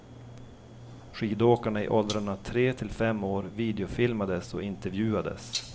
Skidåkarna i åldrarna tre till fem år videofilmades och intervjuades.